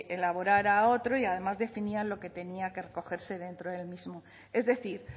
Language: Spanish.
elaborara otro y además definía lo que tenía que recogerse dentro del mismo es decir